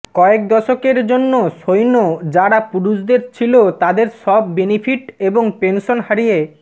কয়েক দশকের জন্য সৈন্য যারা পুরুষদের ছিল তাদের সব বেনিফিট এবং পেনশন হারিয়ে